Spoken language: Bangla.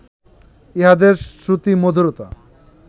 ইহাদের শ্রুতিমধুরতা